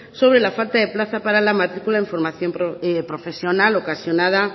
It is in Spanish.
sobre la falta de plazas para la matricula en formación profesional ocasionada